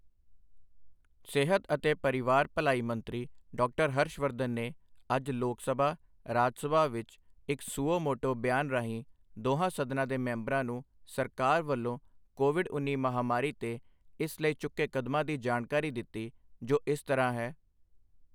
ਸਿਹਤ ਤੇ ਪਰਿਵਾਰ ਭਲਾਈ ਮੰਤਰੀ ਡਾਕਟਰ ਹਰਸ਼ ਵਰਧਨ ਨੇ ਅੱਜ ਲੋਕ ਸਭਾ ਰਾਜ ਸਭਾ ਵਿੱਚ ਇੱਕ ਸੁਓ ਮੋਟੋ ਬਿਆਨ ਰਾਹੀਂ ਦੋਹਾਂ ਸਦਨਾਂ ਦੇ ਮੈਂਬਰਾਂ ਨੂੰ ਸਰਕਾਰ ਵੱਲੋਂ ਕੋਵਿਡ ਉੱਨੀ ਮਹਾਮਾਰੀ ਤੇ ਇਸ ਲਈ ਚੁੱਕੇ ਕਦਮਾਂ ਦੀ ਜਾਣਕਾਰੀ ਦਿੱਤੀ, ਜੋ ਇਸ ਤਰ੍ਹਾਂ ਹੈ